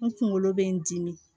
N kunkolo bɛ n dimi